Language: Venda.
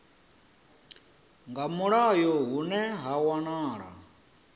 nga mulayo hune ha wanala